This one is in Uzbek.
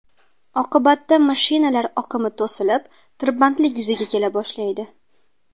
Oqibatda mashinalar oqimi to‘silib, tirbandlik yuzaga kela boshlaydi.